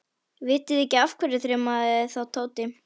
Vitiði ekki af hverju? þrumaði þá Tóti.